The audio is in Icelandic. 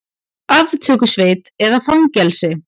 Aftökusveit eða fangelsi?